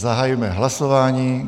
Zahajuji hlasování.